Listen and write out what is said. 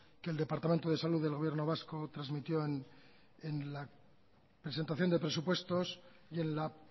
que el departamento de salud del gobierno vasco transmitió en la presentación de presupuestos y en la